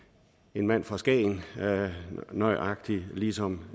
en mand fra skagen nøjagtig ligesom